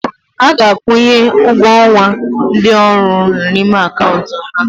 A ga-akwụnye ụgwọ ọnwa ndị ọrụ m n'ime akaụntụ ha.